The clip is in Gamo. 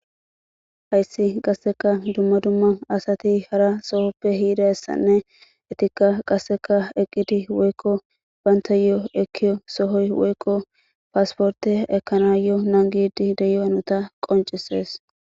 Hayssi qasseka dumma dumma asati hara sohoppe hiida essanne etikka qasseka eqqidi woykko baynta yo7o ekkiyo sohoy woykko paasporte ekana yo nangidi deyoanota qoncisees.